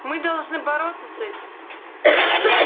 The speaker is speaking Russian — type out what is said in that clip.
мы должны бороться с этим